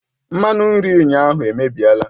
Mmanụ nri ụnyaahụ emebiela